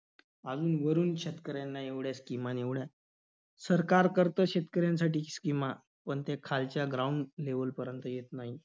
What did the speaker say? अजून वरून शेतकऱ्यांना एवढ्या schemes आणि एवढं~ सरकार करतं शेतकऱ्यांसाठी schemes पण ते खालच्या ground level पर्यंत येत नाही.